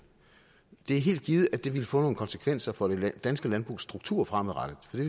det er helt givet at det ville få nogle konsekvenser for det danske landbrugs struktur fremadrettet for det